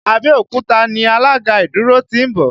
Abẹ́òkúta ni alága ìdúró ti ń bọ̀